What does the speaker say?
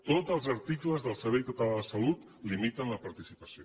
tots els articles del servei català de salut en limiten la participació